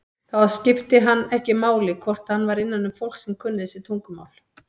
Þá skipti það hann ekki máli hvort hann var innanum fólk sem kunni þessi tungumál.